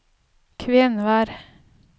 Kvenvær